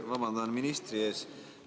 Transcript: Ja vabandan ministri ees.